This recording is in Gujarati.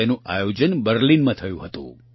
તેનું આયોજન બર્લિનમાં થયું હતું